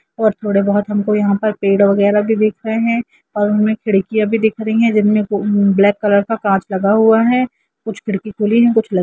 और थोड़े बहुत हमको यहाँ पर पेड़ वगैरा भी दिख रहे है और उनमे खिड़किया भी दिख रही है जिनमें उम् ब्लैक कलर का कांच लगा हुआ है कुछ खिड़की खुली हैकुछ ल--